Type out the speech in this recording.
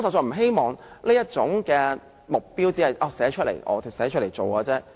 我希望這目標不只是寫出來，更要實現。